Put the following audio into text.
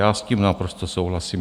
Já s tím naprosto souhlasím.